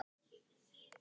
En nú var það hætt.